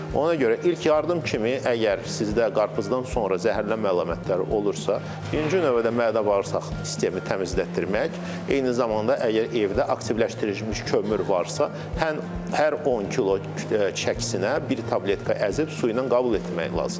Ona görə ilk yardım kimi əgər sizdə qarpızdan sonra zəhərlənmə əlamətləri olursa, incin növbədə mədə bağırsaq sistemi təmizlətdirmək, eyni zamanda əgər evdə aktivləşdirilmiş kömür varsa, hər 10 kilo çəkisinə bir tabletka əzib su ilə qəbul etmək lazımdır.